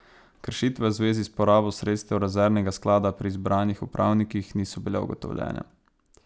Kršitve v zvezi s porabo sredstev rezervnega sklada pri izbranih upravnikih niso bile ugotovljene.